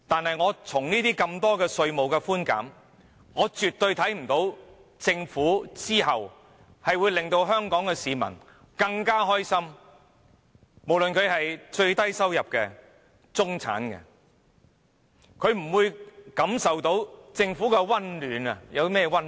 可是，觀乎這些稅務寬減措施，我絕對不認為政府會令香港市民更快樂，無論是最低收入或中產的市民，也不會從政府感受到任何溫暖。